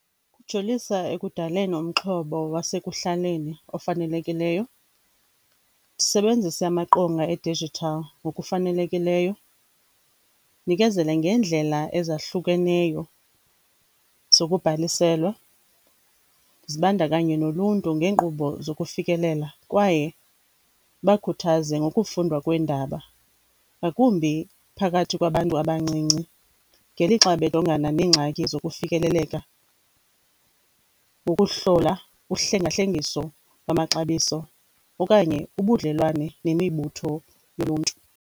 Lujolisa ekudaleni umxhobo wasekuhlaleni ofanelekileyo, sebenzisa amaqonga e-digital ngokufanelekileyo. Nikezela ngendlela ezahlukeneyo zokubhaliselwa, zibandakanye noluntu ngeenkqubo zokufikelela kwaye bakhuthaze ngokufundwa kweendaba, ngakumbi phakathi kwabantu abancinci ngelixa bejongana nengxaki zokufikelela ukuhlola uhlanga-hlengiso lwamaxabiso okanye ubudlelwane nemibutho yomntu.